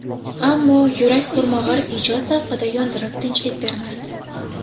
Ammo yurak qurmag‘ur ijod zavqida yondirib tinchlik bermasdi.